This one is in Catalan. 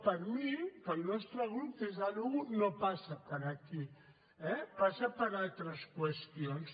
per mi pel nostre grup per descomptat no passa per aquí eh passa per altres qüestions